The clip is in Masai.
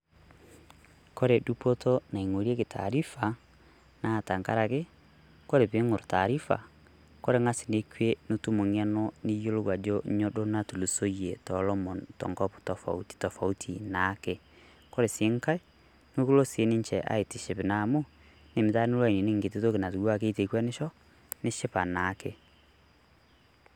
Kore dupoto naing'oreki taarifa naa tang'araki kore piing'orr taarifa kore ng'as nekwee nitum ng'eno niyelo ajo nyoo doo naitulusoye to lomoon to nkop tofauti tofauti naake. Kore sii nkai na koloo sii ninchee aitishipi amu idim taa niloo aininik nkitii ntoki natiwaa keteng'enisho nishipaa naake.